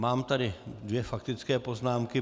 Mám tady dvě faktické poznámky.